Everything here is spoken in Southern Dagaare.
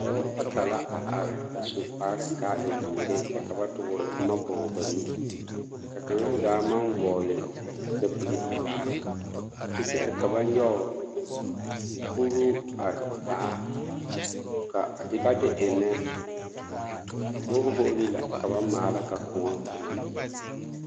Dɔba bata la a are a su kpare ka a e zeere kyɛ ka ba toore boma ba nu kaŋa zaa maŋ vɔgle sapige pelaa kyɛ kyɛre ka ba nyɔge kuruu a taa ka a de ka ba de eŋnɛ borehole la ka ba maala ka koɔ a na yi.